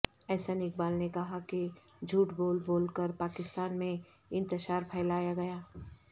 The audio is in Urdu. احسن اقبال نے کہا کہ جھوٹ بول بول کر پاکستان میں انتشار پھیلایا گیا